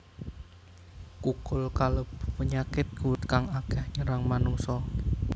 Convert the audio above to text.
Kukul kalebu penyakit kulit kang akéh nyerang manungsa